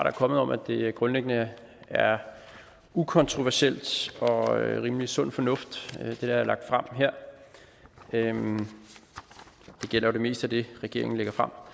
er kommet om at det grundlæggende er ukontroversielt og rimelig sund fornuft hvad der her er lagt frem det gælder jo det meste af det regeringen lægger frem